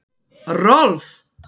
Rolf